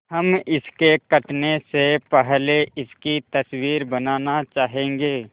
हम इसके कटने से पहले इसकी तस्वीर बनाना चाहेंगे